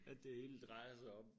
At det hele drejer sig om